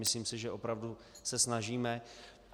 Myslím si, že opravdu se snažíme.